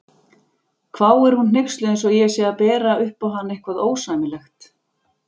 hváir hún hneyksluð eins og ég sé að bera upp á hana eitthvað ósæmilegt.